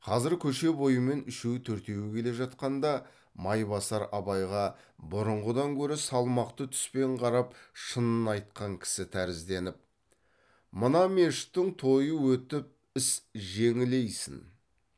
қазір көше бойымен үшеу төртеуі келе жатқанда майбасар абайға бұрынғыдан гөрі салмақты түспен қарап шынын айтқан кісі тәрізденіп мына мешіттің тойы өтіп іс жеңілейсін